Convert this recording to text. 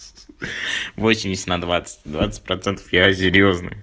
восемьдесят на двадцать двадцать процентов я серьёзный